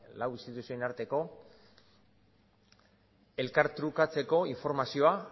lau instituzioen arteko elkartrukatzeko informazioa